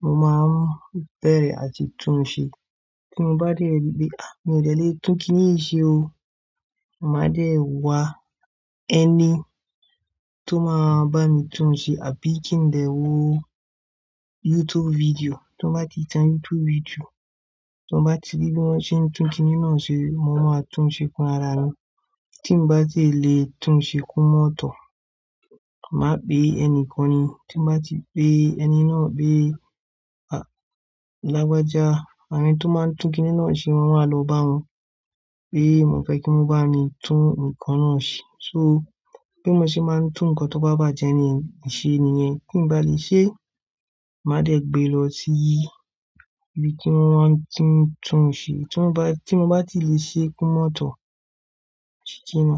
mo máa n bẹ̀rẹ̀ àti tún un ṣe. Tí mo bá dé ripe mi ò de lè tún kiní yìí ṣe o, mà dé e wá ẹni tó máa bá mi tún un ṣe àbí kí n dé wo YouTube video. Tí mo bá ti tan YouTube video, tí mo bá ti rí bí wọ́n ṣe ń tún kiní náà ṣe mo máa tún ṣe fún ara mi. Tí mo bá tí e lè tún ṣe kó mọ́ tọ̀. Màá pè ẹni kan ni. Tí mo bá ti pé ẹni náà pé, a, lágbájá àbí ẹni tó máa ń tún kiní náà ṣe, mo wá lọ bá wọn pé mo fẹ́ kí wọ́n bá mi tún ǹkan náà ṣe. So bí mo ṣe máa ń tún ǹkan tó bá bàjẹ́ niyen ní ṣe nìyẹn. Tí m bá lè ṣe, màá dé gbé lọ sí ibi tí wọ́n tuń tún ṣe. Tí mo bá, tí mo bá ti lè ṣe kó mọ́ tọ̀, ó ti jinná.